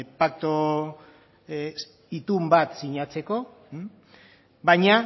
paktu itun bat sinatzeko baina